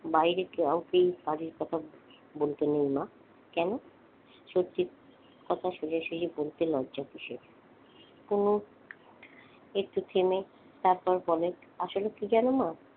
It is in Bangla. বাইরের কাউকে বাড়ির কথা বলতে নেই মা। কেন? সঠিক কথা সোজাসুজি বলতে লজ্জা কিসের? একটু থেমে তারপর বলে আসলে কি জানো মা?